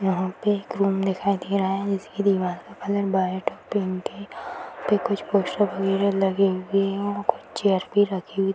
यहां पर एक रूम दिखाई दे रहा है जिसकी दीवार का कलर व्हाइट और पिंक है यहां पे कुछ पोस्टर वगैरा लगे हुए है और कुछ चेयर भी रखी हुई --